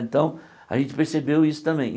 Então a gente percebeu isso também.